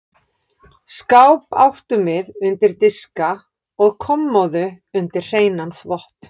Skáp áttum við undir diska og kommóðu undir hreinan þvott.